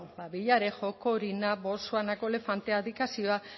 bueno villarejo corina botswanako elefantea abdikazioa